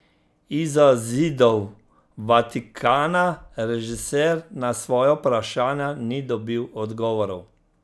Izza zidov Vatikana režiser na svoja vprašanja ni dobil odgovorov.